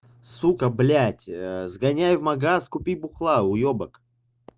сука блядь сгоняй в магазин купи бухла уёбак